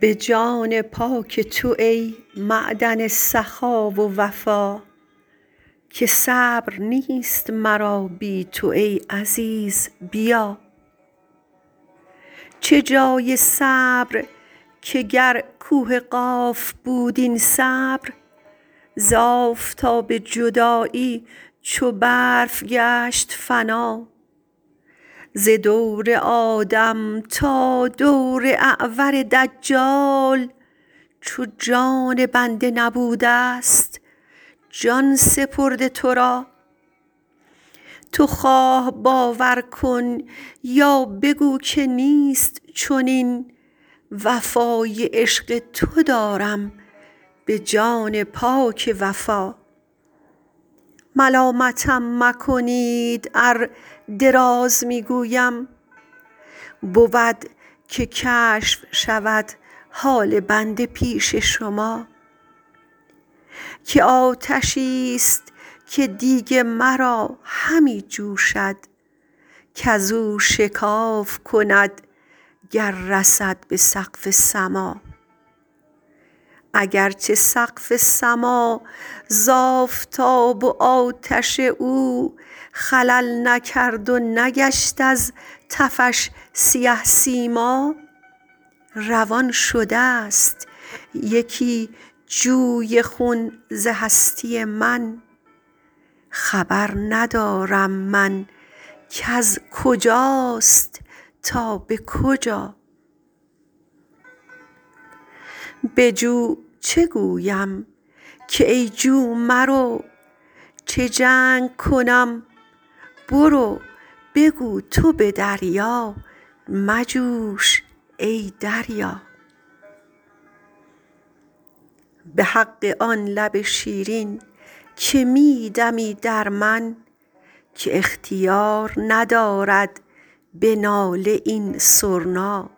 به جان پاک تو ای معدن سخا و وفا که صبر نیست مرا بی تو ای عزیز بیا چه جای صبر که گر کوه قاف بود این صبر ز آفتاب جدایی چو برف گشت فنا ز دور آدم تا دور اعور دجال چو جان بنده نبوده ست جان سپرده تو را تو خواه باور کن یا بگو که نیست چنین وفای عشق تو دارم به جان پاک وفا ملامتم مکنید ار دراز می گویم بود که کشف شود حال بنده پیش شما که آتشی ست که دیگ مرا همی جوشد کز او شکاف کند گر رسد به سقف سما اگر چه سقف سما ز آفتاب و آتش او خلل نکرد و نگشت از تفش سیه سیما روان شده ست یکی جوی خون ز هستی من خبر ندارم من کز کجاست تا به کجا به جو چه گویم کای جو مرو چه جنگ کنم برو بگو تو به دریا مجوش ای دریا به حق آن لب شیرین که می دمی در من که اختیار ندارد به ناله این سرنا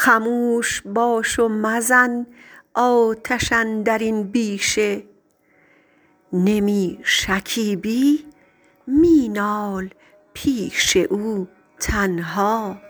خموش باش و مزن آتش اندر این بیشه نمی شکیبی می نال پیش او تنها